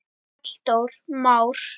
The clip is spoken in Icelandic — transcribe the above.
Halldór Már.